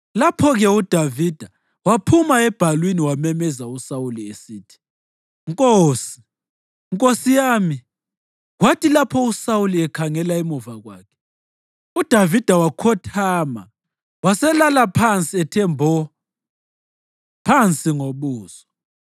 Lapho-ke uDavida waphuma ebhalwini wamemeza uSawuli esithi, “nkosi, nkosi yami!” Kwathi lapho uSawuli ekhangela emuva kwakhe, uDavida wakhothama waselala phansi ethe mbo phansi ngobuso.